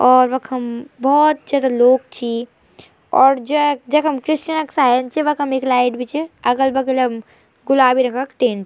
और वखम बहौत जादा लोग छी और जैक जखम क्रिसचन क साइन च वखम एक लाइट भी च अगल-बगल म गुलाबी रंग क टिन ।